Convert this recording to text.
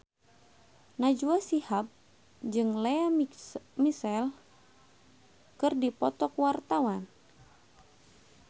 Najwa Shihab jeung Lea Michele keur dipoto ku wartawan